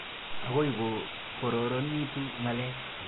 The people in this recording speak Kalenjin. Akoi ko kororonitu ng'alek.